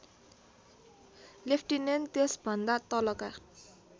lieutenant त्यसभन्दा तलका